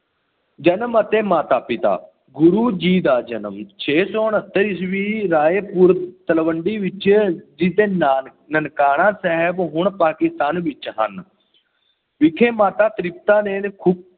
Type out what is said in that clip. ਜਨਮ ਅਤੇ ਮਾਤਾ-ਪਿਤਾ, ਗੁਰੂ ਜੀ ਦਾ ਜਨਮ ਛੇ ਸੌ ਉਨੱਤਰ ਈਸਵੀ ਰਾਇ ਪੁਰ ਤਲਵੰਡੀ ਵਿੱਚ ਜਿਸਨੂੰ ਨਾਨ ਨਨਕਾਣਾ ਸਾਹਿਬ ਹੁਣ ਪਾਕਿਸਤਾਨ ਵਿੱਚ ਹਨ, ਵਿਖੇ ਮਾਤਾ ਤ੍ਰਿਪਤਾ ਦੀ ਕੁੱਖੋਂ